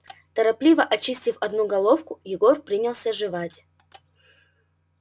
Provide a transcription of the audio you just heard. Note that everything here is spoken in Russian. торопливо очистив одну головку егор принялся жевать